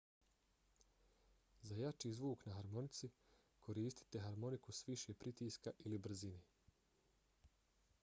za jači zvuk na harmonici koristite harmoniku s više pritiska ili brzine